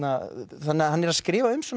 þannig að hann er að skrifa um